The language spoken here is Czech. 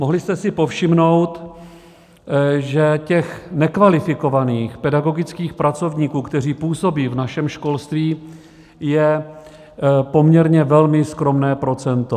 Mohli jste si povšimnout, že těch nekvalifikovaných pedagogických pracovníků, kteří působí v našem školství, je poměrně velmi skromné procento.